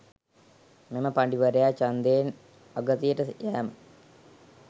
මෙම පඬිවරයා ඡන්දයෙන් අගතියට යෑම